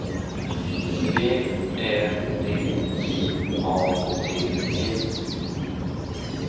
V Ä D J A D E